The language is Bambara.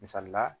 Misali la